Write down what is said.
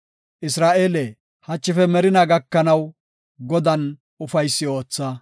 Isra7eele, hachife merinaa gakanaw Godan ufaysi ootha.